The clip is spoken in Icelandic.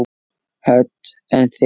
Hödd: En þig?